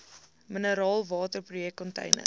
mineraalwater projek container